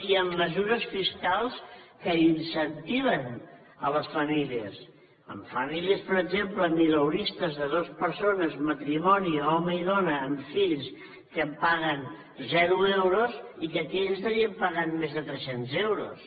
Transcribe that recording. i amb mesures fiscals que incentiven les famílies amb famílies per exemple mileuristes de dues persones matrimoni home i dona amb fills que paguen zero euros i que aquí estarien pagant més de trescents euros